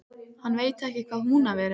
Hann veit ekki hvað Húnaver er!